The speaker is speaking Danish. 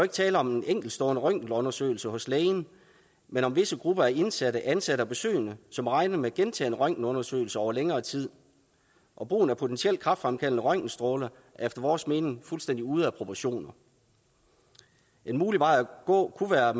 tale om en enkeltstående røntgenundersøgelse hos lægen men om visse grupper af indsatte ansatte og besøgende som regner med gentagne røntgenundersøgelser over længere tid og brugen af potentielt kræftfremkaldende røntgenstråler er efter vores mening fuldstændig ude af proportioner en mulig vej at gå kunne være